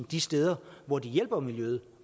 de steder hvor de på miljøet